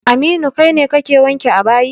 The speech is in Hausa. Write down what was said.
Aminu, kai ne kake wanke a bayi.